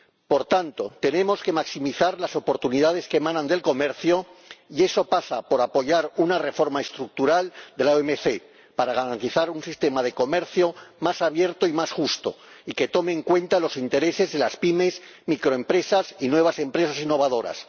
Por tanto, tenemos que maximizar las oportunidades que emanan del comercio, y eso pasa por apoyar una reforma estructural de la OMC para garantizar un sistema de comercio más abierto y más justo y que tome en consideración los intereses de las pymes, las microempresas y las nuevas empresas innovadoras.